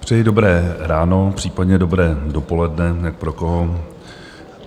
Přeji dobré ráno, případně dobré dopoledne, jak pro koho.